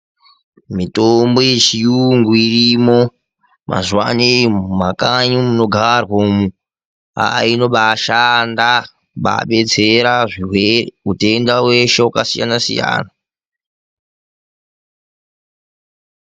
Mitombo yechiyungu irimo mazuvano mumakanyi munogarwa umwu inobaashanda kubaadetsera zvirwere, utenda weshe wakasiyana siyana.